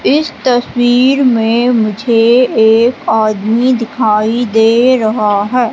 इस तस्वीर में मुझे एक आदमी दिखाई दे रहा है।